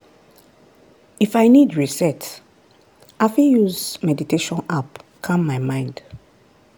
if i need reset i fit use meditation app calm my mind.